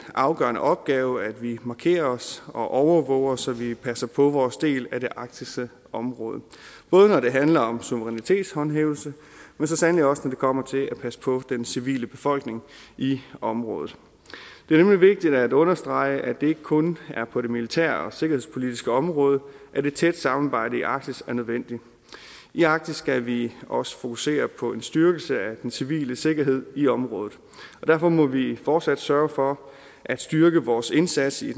afgørende opgave at vi markerer os og overvåger så vi passer på vores del af det arktiske område både når det handler om suverænitetshåndhævelse men så sandelig også når det kommer til at passe på den civile befolkning i området det er nemlig vigtigt at understrege at det ikke kun er på det militære og sikkerhedspolitiske område at et tæt samarbejde i arktis er nødvendigt i arktis skal vi også fokusere på en styrkelse af den civile sikkerhed i området og derfor må vi fortsat sørge for at styrke vores indsats i